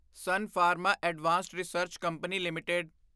son pharma advanced research company LTD